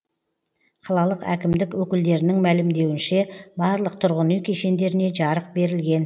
қалалық әкімдік өкілдерінің мәлімдеуінше барлық тұрғын үй кешендеріне жарық берілген